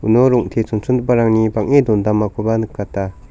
uno rong·te chonchongiparangni bang·e dondamakoba nikata.